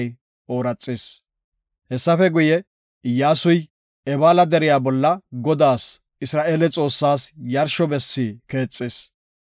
Hessafe guye, Iyyasuy Ebaala deriya bolla Godaas Isra7eele Xoossaas yarsho bessi keexis.